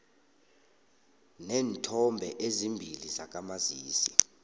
neenthombe ezimbili zakamazisi